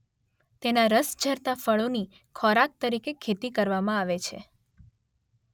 તેનાં રસ ઝરતાં ફળોની ખોરાક તરીકે ખેતી કરવામાં આવે છે.